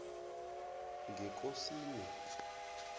ngekosini